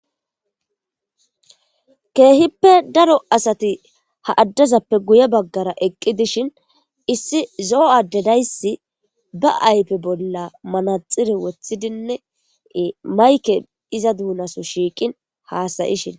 Keehippe daro asati ha addezappe guye baggara eqqi dishin issi zo'o addedayssi ba aype bolla manaxire wothidinnei mayke iza duunaso shiiqin haasayishin.